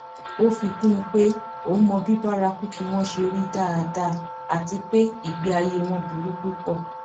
ó fi kún un pé òun mọ bí bárakúkí wọn ṣe rí dáadáa àti pé ìgbé ayé wọn burú púpọ